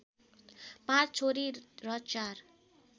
पाँच छोरी र चार